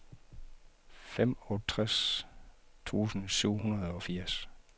femogtres tusind syv hundrede og firs